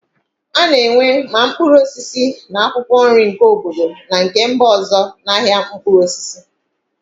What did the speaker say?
A na-enwe ma mkpụrụ osisi na akwụkwọ nri nke obodo na nke mba ọzọ na ahịa mkpụrụ osisi.